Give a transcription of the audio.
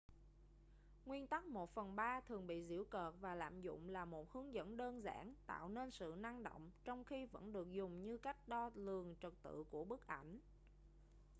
nguyên tắc một phần ba thường bị giễu cợt và lạm dụng là một hướng dẫn đơn giản tạo nên sự năng động trong khi vẫn được dùng như cách đo lường trật tự của bức ảnh